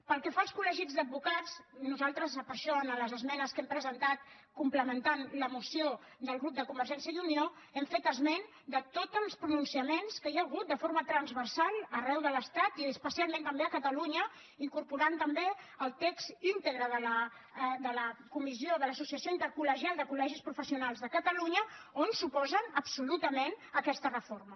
pel que fa als col·en les esmenes que hem presentat complementant la moció del grup de convergència i unió hem fet esment de tots els pronunciaments que hi ha hagut de forma transversal arreu de l’estat i especialment també a catalunya i hem incorporat també el text íntegre de l’associació intercolde catalunya on s’oposen absolutament a aquesta reforma